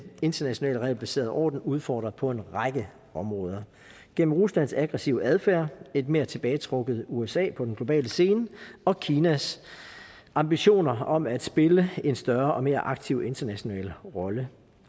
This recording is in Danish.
internationale regelbaserede orden udfordret på en række områder gennem ruslands aggressive adfærd et mere tilbagetrukket usa på den globale scene og kinas ambitioner om at spille en større og mere aktiv international rolle